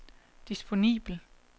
disponibel